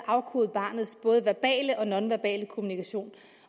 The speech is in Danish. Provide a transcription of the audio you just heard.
at afkode barnets verbale og barnets nonverbale kommunikation